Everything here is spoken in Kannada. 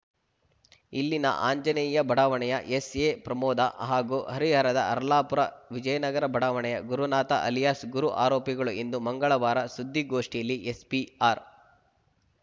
ಇಲ್ಲಿನ ಆಂಜನೇಯ ಬಡಾವಣೆಯ ಎಸ್‌ಎಪ್ರಮೋದ ಹಾಗೂ ಹರಿಹರದ ಹರ್ಲಾಪುರ ವಿಜಯನಗರ ಬಡಾವಣೆಯ ಗುರುನಾಥ ಅಲಿಯಾಸ್‌ ಗುರು ಆರೋಪಿಗಳು ಎಂದು ಮಂಗಳವಾರ ಸುದ್ದಿಗೋಷ್ಠಿಯಲ್ಲಿ ಎಸ್ಪಿ ಆರ್‌